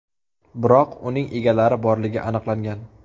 Biroq uning egalari borligi aniqlangan.